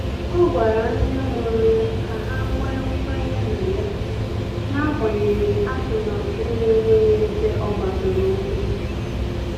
Ọ gwara ndị mụrụ ya ka ha nwee kwenye na ya, n'agbanyeghị atụmatụ na-enweghị ebe ọ gbadoro ụkwụ.